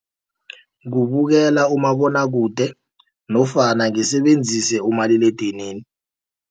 Kubukela umabonwakude nofana ngisebenzise umaliledinini.